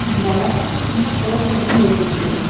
இங்க அழகான சின்ன சார்ச் ஒன்னு தெரியுது.